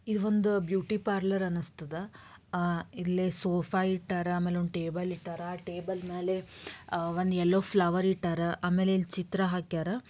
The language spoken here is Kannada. ಈ ಒಂದು ಬ್ಯೂಟಿ ಪಾರ್ಲರ್ ಅನಸ್ತದ. ಅಹ್ ಇಲ್ಲಿ ಸೋಫಾ ಇಟ್ಟಾರ ಆಮೇಲೆ ಒಂದು ಟೇಬಲ್ ಇಟ್ಟಾರ ಟೇಬಲ್ ಮೇಲೆ ಅಹ್ ಒಂದ್ ಯಲ್ಲೋ ಫ್ಲವರ್ ಇಟ್ಟಾರ ಆಮೇಲೆ ಇಲ್ ಚಿತ್ರ ಹಾಕ್ಯರ.